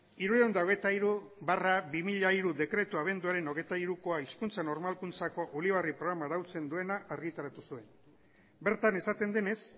hirurehun eta hogeita hiru barra bi mila hiru dekretua abenduaren hogeita hirukoa hizkuntza normalkuntzako ulibarri programa arautzen duena argitaratu zuen bertan esaten denez